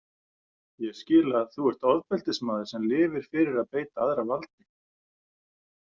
Ég skil að þú ert ofbeldismaður sem lifir fyrir að beita aðra valdi.